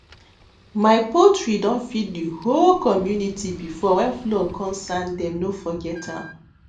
my poultry don feed the whole community before when flood comesand dem no forget am